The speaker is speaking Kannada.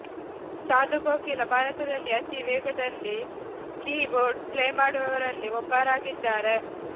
ಸಾಧು ಕೋಕಿಲ ಭಾರತದಲ್ಲಿಯೇ ಅತೀ ವೇಗದಲ್ಲಿ ಕೀ ಬೋರ್ಡ್ ಪ್ಲೇ ಮಾಡುವವರಲ್ಲಿ ಒಬ್ಬರಾಗಿದ್ದಾರೆ